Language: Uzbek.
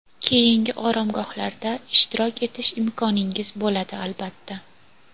keyingi oromgohlarda ishtirok etish imkoningiz bo‘ladi, albatta.